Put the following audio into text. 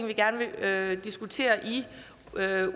vi gerne vil diskutere i